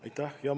Aitäh!